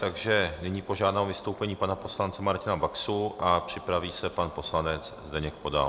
Takže nyní požádám o vystoupení pana poslance Martina Baxu a připraví se pan poslanec Zdeněk Podal.